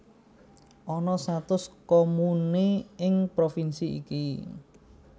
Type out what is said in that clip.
Ana satus komune ing provinsi iki